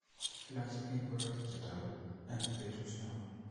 Iloochi biik ngoroik che toguu eng betut ne oo.